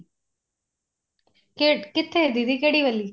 ਕਿੱਥੇ ਦੀਦੀ ਕਿਹੜੀ ਵਾਲੀ